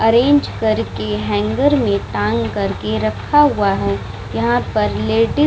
Arrange करके hanger में टांग कर के रखा हुआ है। यहाँ पर लेडी --